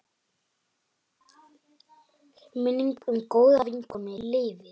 Minning um góða vinkonu lifir.